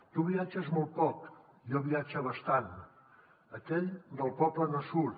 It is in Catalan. tu viatges molt poc jo viatge bastant aquell del poble no surt